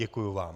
Děkuji vám.